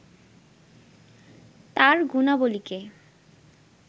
তার গুণাবলিকে